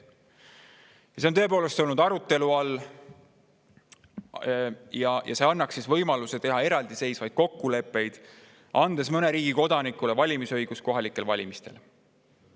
See on tõepoolest olnud arutelu all ja see annaks võimaluse teha eraldiseisvaid kokkuleppeid, mis annaksid mõne riigi kodanikele valimisõiguse kohalikel valimistel.